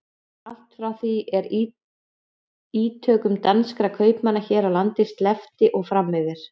Allt frá því er ítökum danskra kaupmanna hér á landi sleppti og fram yfir